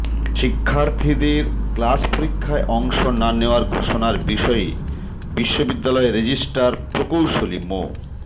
শিক্ষার্থীদের ক্লাস পরীক্ষায় অংশ না নেয়ার ঘোষণার বিষয়ে বিশ্ববিদ্যালয় রেজিস্ট্রার প্রোকৌশলী মো